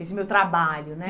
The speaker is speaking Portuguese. Esse meu trabalho, né?